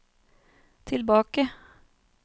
tilbake